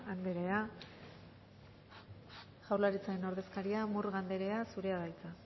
anderea jaurlaritzaren ordezkaria murga anderea zurea da hitza